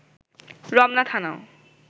Ramna থানাও